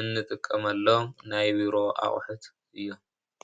እንጥቀመሎም እዩ።